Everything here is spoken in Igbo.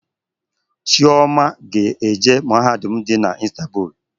Chioma ga-eje mahadum dị na Istanbul